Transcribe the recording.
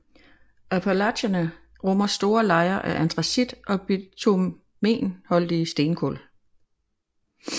Appalacherne rummer store lejer af antracit og bitumenholdige stenkul